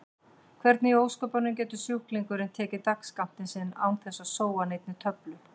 Hvernig í ósköpunum getur sjúklingurinn tekið dagsskammtinn sinn án þess að sóa neinni töflu?